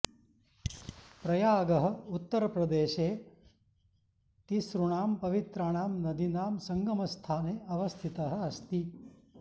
प्रयागः उत्तरप्रदेशे तिसृणां पवित्राणां नदीनां सङ्गमस्थाने अवस्थितः अस्ति